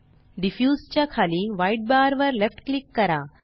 diffuse च्या खाली white bar वर लेफ्ट क्लिक करा